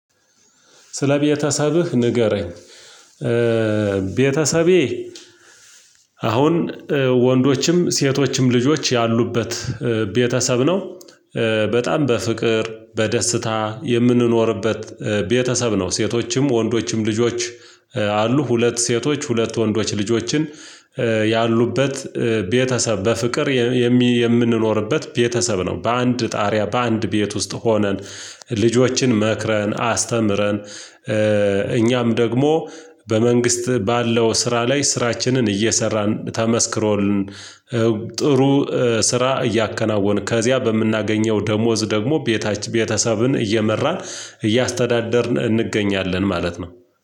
ስለ ቤተሰብህ ንገረኝ? ቤተሰቤ አሁን ወንዶችም ሴቶችም ልጆች ያሉበት ቤተሰብ ነው። በጣም በፍቅር በደስታ የምንኖርበት ቤተሰብ ነው። ሴቶችም ወንዶችም ልጆች። አሉ ሁለት ሴቶች ሁለት ወንዶች ልጆችን ያሉበት ቤተሰብ በፍቅር የምንኖርበት ቤተሰብ ነው። በአንድ ጣሪያ በአንድ ቤት ውስጥ ሆነን ልጆችን መክረን አስተምረን። እኛም ደግሞ በመንግስት ባለው ስራ ላይ ስራችንን እየሰራን ተመስክሮልን። ጥሩ ስራ እያከናወንን ከዚያ በምናገኘው ደሞዝ ደግሞ ቤተሰብን እየመራን እያስተዳደርን እንገኛለን ማለት ነው።